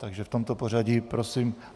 Takže v tomto pořadí prosím.